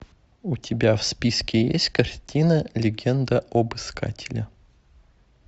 у тебя в списке есть картина легенда об искателе